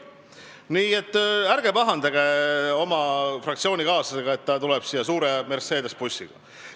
Nii et ärge pahandage oma fraktsioonikaaslasega, et ta tuleb siia suure Mercedese bussiga.